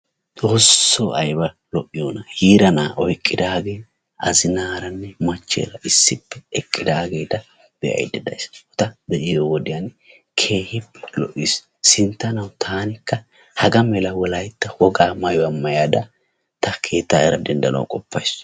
Xoosso ayiba lo"iyona! Yiira na'aa oyiqqidaagee Azinaaranne machcheera issippe eqqidaageeta be'ayidda dayis. Ta be'iyo wodiyan keehi lo'ees. Sinttanawu taanikka hagaa mala wolayitta wogaa mayuwa mayada ta keettaayeera denddanawu qoppayis.